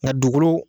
Nka dugukolo